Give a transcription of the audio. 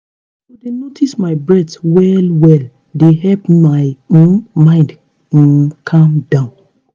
to dey notice my breath well-well dey help my um mind um calm down